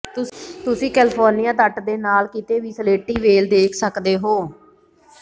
ਤੁਸੀਂ ਕੈਲੇਫ਼ੋਰਨੀਆ ਤੱਟ ਦੇ ਨਾਲ ਕਿਤੇ ਵੀ ਸਲੇਟੀ ਵ੍ਹੇਲ ਦੇਖ ਸਕਦੇ ਹੋ